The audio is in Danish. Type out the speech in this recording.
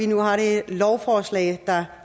nu har det lovforslag der